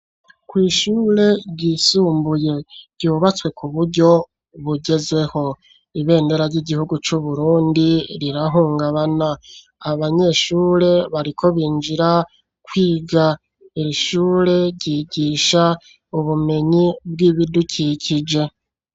Kw'ishure ryisumbuye ryubatswe ku buryo bugezweho, ibendera ry'igihugu c'Uburundi rirahungabana, abanyeshure bariko binjira kwiga, iri shure ryigisha ubumenyi bw'ibidukikije.